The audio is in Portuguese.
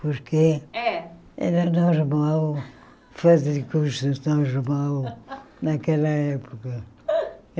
Porque É Era normal fazer cursos normal naquela época.